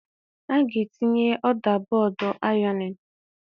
A ga-etinye ọda bọọdụ ironing.